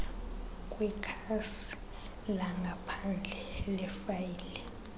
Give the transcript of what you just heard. kwikhasi langaphandle lefayile